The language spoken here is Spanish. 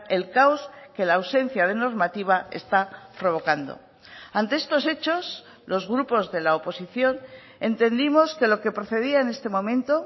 el caos que la ausencia de normativa está provocando ante estos hechos los grupos de la oposición entendimos que lo que procedía en este momento